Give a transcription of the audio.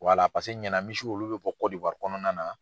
Waala paseke Ɲana misiw olu bɛ bɔ Kɔdiwari kɔnɔna na.